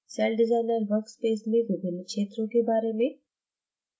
CellDesigner workspace में विभिन्न क्षेत्रों के बारे में